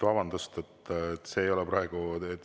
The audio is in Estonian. Vabandust!